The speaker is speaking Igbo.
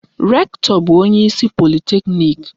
Rektọ bụ onyeisi politeknik.